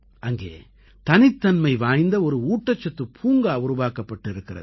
அங்கே தனித்தன்மை வாய்ந்த ஒரு ஊட்டச்சத்துப் பூங்கா உருவாக்கப்பட்டிருக்கிறது